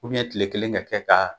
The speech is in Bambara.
tile kelen ka kɛ ka